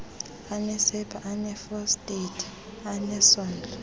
anesepha eneefosfeythi anesondlo